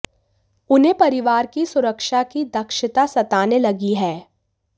उन्हें परिवार की सुरक्षा की ङ्क्षचता सताने लगी है